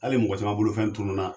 Hali mɔgɔ caman bolofɛn tununna